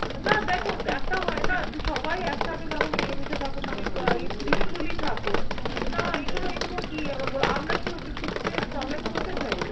না দেখো একটা হয় না যে সবাই একসাথে থাকো মিলেমিশে থাকো মানে peacefully থাকো। না এগুলো এগুলো কি এবার বলো। আমরা কি ওদের কিছুতে problem করতে যাই?